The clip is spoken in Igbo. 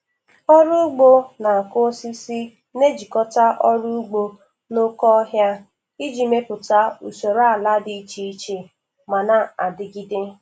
Ọrụ ugbo na-akụ osisi na-ejikọta ọrụ ugbo na oke ọhịa iji mepụta usoro ala dị iche iche ma na-adigide.